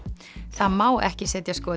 það má ekki setja